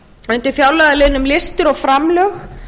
undir fjárlagaliðnum listir og framlög